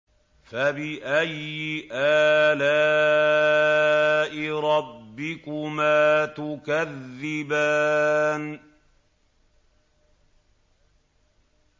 فَبِأَيِّ آلَاءِ رَبِّكُمَا تُكَذِّبَانِ